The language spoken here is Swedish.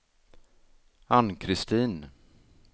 Ann-Christin